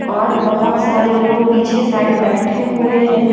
और बहोत सारे लोग पीछे साइड बैठे हुए हैं।